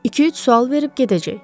İki-üç sual verib gedəcək.